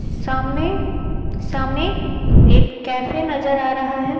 सामने सामने एक कैफे नजर आ रहा है।